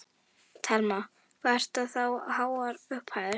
Telma: Hvað eru það háar upphæðir?